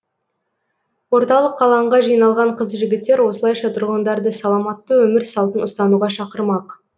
орталық алаңға жиналған қыз жігіттер осылайша тұрғындарды саламатты өмір салтын ұстануға шақырмақ